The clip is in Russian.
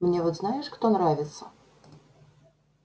мне вот знаешь кто нравится